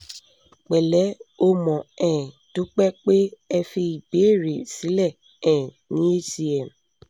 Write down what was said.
pẹ̀lẹ́ o mo um dúpẹ́ pé ẹ fi ìbéèrè sílẹ̀ um ní hcm